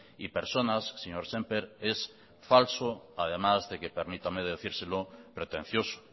y personas señor sémper es falso además de que permítame decírselo pretencioso